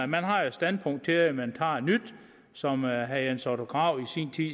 man har jo et standpunkt til man tager et nyt som herre jens otto krag